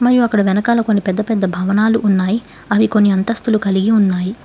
మరియు అక్కడ వెనకాల కొన్ని పెద్ద పెద్ద భవనాలు ఉన్నాయి అవి కొన్ని అంతస్తులు కలిగి ఉన్నాయి